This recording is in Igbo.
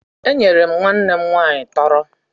Enyere m nwanne m nwaanyị tọrọ